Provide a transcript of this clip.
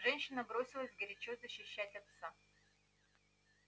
женщина бросилась горячо защищать отца